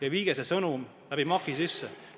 Andke oma sõnum MAK-i kaudu edasi.